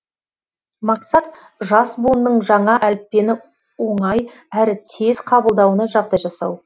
мақсат жас буынның жаңа әліппені оңай әрі тез қабылдауына жағдай жасау